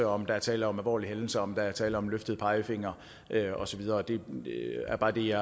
om der er tale om alvorlige hændelser om der er tale om en løftet pegefinger og så videre det er bare det jeg